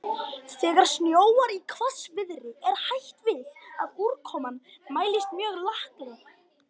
Þegar snjóar í hvassviðri er hætt við að úrkoman mælist mjög laklega.